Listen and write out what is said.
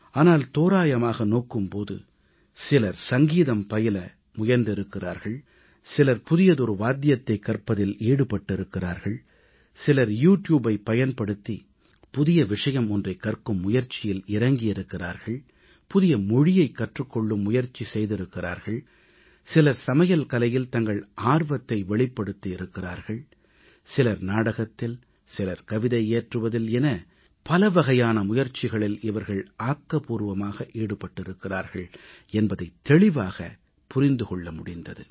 ஆனால் தோராயமாக நோக்கும் போது சிலர் சங்கீதம் பயில முயன்றிருக்கிறார்கள் சிலர் புதியதொரு வாத்தியத்தைக் கற்பதில் ஈடுபட்டிருக்கிறார்கள் சிலர் யூ டியூபைப் பயன்படுத்தி புதிய விஷயம் ஒன்றைக் கற்கும் முயற்சியில் இறங்கியிருக்கிறார்கள் புதிய மொழியைக் கற்றுக் கொள்ளும் முயற்சி செய்திருக்கிறார்கள் சிலர் சமையல் கலையில் தங்கள் ஆர்வத்தை வெளிப்படுத்தி இருக்கிறார்கள் சிலர் நாடகத்தில் சிலர் கவிதை இயற்றுவதில் என பலவகையான முயற்சிகளில் இவர்கள் ஆக்கபூர்வமாக ஈடுபட்டிருக்கிறார்கள் என்பதை தெளிவாகப் புரிந்து கொள்ள முடிந்தது